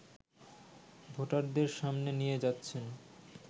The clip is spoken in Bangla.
ভোটারদের সামনে নিয়ে যাচ্ছেন